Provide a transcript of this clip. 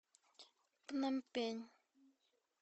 пномпень